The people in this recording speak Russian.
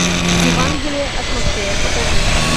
евангелие от матфея покажи